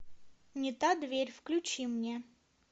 не та дверь включи мне